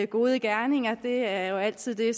gode gerninger det er jo altid det